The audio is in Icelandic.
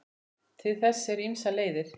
Til þess eru ýmsar leiðir.